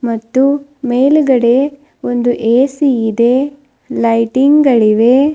ಮತ್ತು ಮೇಲುಗಡೆ ಒಂದು ಎ_ಸಿ ಇದೆ ಲೈಟಿಂಗ್ ಗಳಿವೆ.